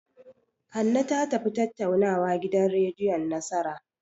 Hanne ta tafi tattaunawa gidan rediyon Nasara.